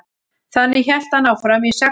þannig hélt hann áfram í sex kynslóðir